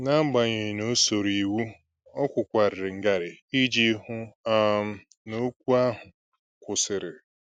N'agbanyeghị na o soro iwu, ọ kwụkwararị ngarị iji hụ um n'okwu ahụ kwụsịrị